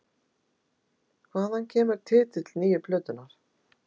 Hvaðan kemur titill nýju plötunnar?